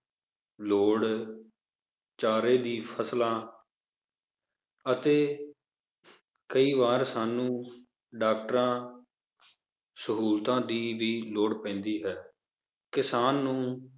ਲੋੜ ਚਾਰੇ ਦੀ ਫਸਲਾਂ ਅਤੇ ਕਈ ਵਾਰ ਸਾਨੂ ਡਾਕਟਰਾਂ ਸਹੂਲਤਾਂ ਦੀ ਵੀ ਲੋੜ ਪੈਂਦੀ ਹੈ l ਕਿਸ਼ਨ ਨੂੰ